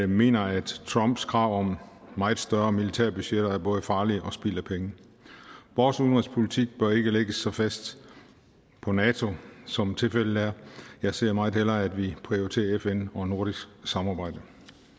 mener at trumps krav om meget større militærbudgetter er både farlige og spild af penge vores udenrigspolitik bør ikke lægges så fast på nato som tilfældet er jeg ser meget hellere at vi prioriterer fn og nordisk samarbejde